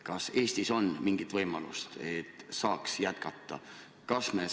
Kas Eestis on mingi võimalus, et nii saaks jätkata?